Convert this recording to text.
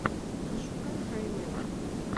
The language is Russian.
пошукай хай мэна